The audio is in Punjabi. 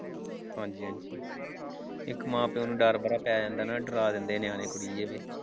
ਹਾਂਜੀ ਇੱਕ ਮਾਂ ਪਿਓ ਨੂੰ ਡਰ ਬੜਾ ਪੈ ਜਾਂਦਾ ਨਾ ਡਰਾ ਦਿੰਦੇ ਨੇ ਨਿਆਣੇ .